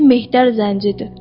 Çünki Mehtər zəncidir.